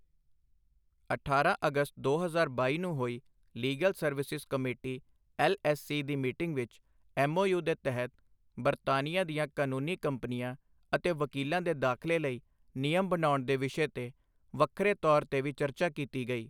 18 ਅਗਸਤ 2022 ਨੂੰ ਹੋਈ legal services committee L S C ਦੀ ਮੀਟਿੰਗ ਵਿੱਚ, ਐੱਮ ਓ ਯੂ ਦੇ ਤਹਿਤ ਬਰਤਾਨੀਆ ਦੀਆਂ ਕਾਨੂੰਨੀ ਕੰਪਨੀਆਂ ਅਤੇ ਵਕੀਲਾਂ ਦੇ ਦਾਖਲੇ ਲਈ ਨਿਯਮ ਬਣਾਉਣ ਦੇ ਵਿਸ਼ੇ ਤੇ ਵੱਖਰੇ ਤੌਰ ਤੇ ਵੀ ਚਰਚਾ ਕੀਤੀ ਗਈ।